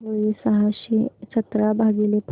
काय होईल सहाशे सतरा भागीले पाच